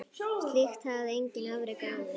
Slíkt hafði enginn afrekað áður.